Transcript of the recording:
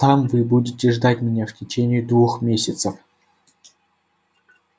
там вы будете ждать меня в течение двух месяцев